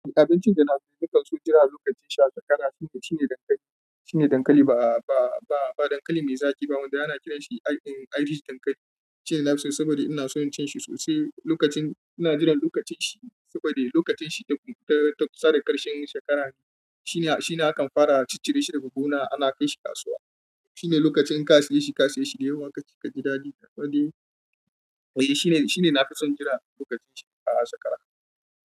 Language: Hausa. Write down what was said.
Abincin da nafison jira lokacin sha ƙara shine dankali. Shine dankali ba, ba, ba dankali mai zaƙi ba wanda ana kiranshi irish dankali. Shine nafiso saboda inason cinshi sosai lokacin, ina jiran lokacin shi saboda lokacin shi ta, ta sare ƙarshen shekara ne. Shine, shine akan fara a cicire shi daga gona ana kaishi kasuwa. Shine lokacin ka saye shi, ka saye shi domin da yunwa kaji daɗi shine nafison shi da sakwara.